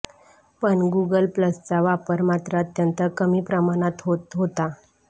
पण गुगल प्लसचा वापर मात्र अत्यंत कमी प्रमाणात होत होता